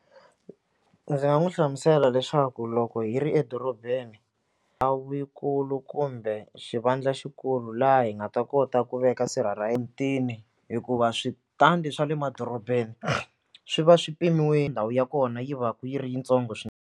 Ndzi nga n'wi hlamusela leswaku loko hi ri edorobeni a wu yi kulu kumbe xivandla xikulu laha hi nga ta kota ku veka sirha ra hikuva switandi swa le madorobeni swi va swi ndhawu ya kona yi va yi ri yintsongo swinene.